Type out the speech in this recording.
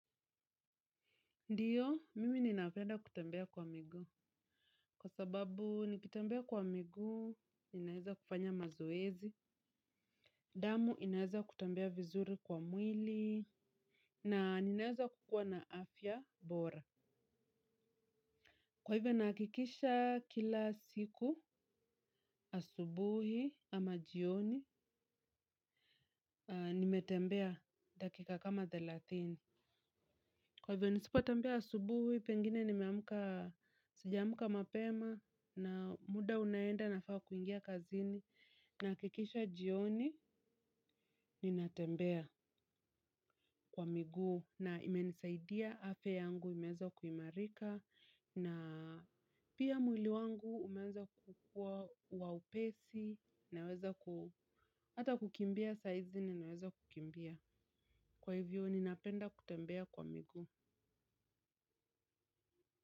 Ndio, mimi ninapenda kutembea kwa miguu. Kwa sababu, nikitembea kwa miguu, ninaweza kufanya mazoezi. Damu, inaweza kutembea vizuri kwa mwili. Na ninaweza kukua na afya bora. Kwa hivyo ninahakikisha kila siku asubuhi ama jioni nimetembea dakika kama thelathini. Kwa hivyo nisipo tembea asubuhi, pengine nimeamka, sijamka mapema na muda unaenda nafaa kuingia kazini nakikisha jioni ninatembea kwa miguu na imenisaidia afya yangu imeanza kuimarika na pia mwili wangu umeanza kukuwa wa upesi naweza kukimbia saa hizi ninaweza kukimbia. Kwa hivyo ninapenda kutembea kwa miguu.